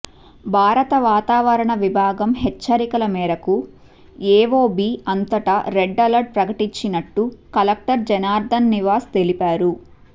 భారత వాతావరణ విభాగం హెచ్చరికల మేరకు ఏవోబీ అంతటా రెడ్ అలర్ట్ ప్రకటించినట్టు కలెక్టర్ జనార్దన్ నివాస్ తెలిపారు